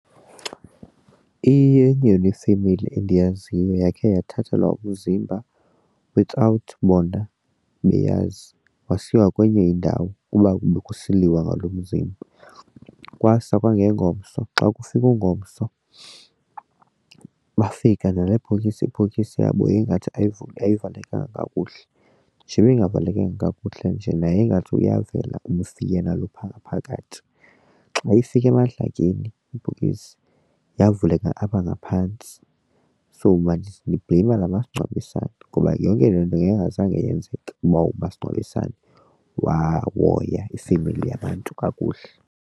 Iyenye yona ifemeli endiyaziyo eyakhe yothathelwa umzimba without bona beyazi wasiwa kwenye indawo kuba bekusiliwa ngaloo mzimba. Kwasa kwangengomso, xa kufika ungomso bafika nale bhokisi ibhokisi yabo yayingathi ayivalekanga kakuhle. Njebe ingavalekanga kakuhle njena ingathi uyavela umfi yena lo phaa ngaphakathi. Xa ifika emadlakeni ibhokisi yavuleka apha ngaphantsi. So mna ndibhleyima la masingcwabisane ngoba yonke le nto ngeyingazange yenzeka uba umasingcwabisane wawoya ifemeli yabantu kakuhle.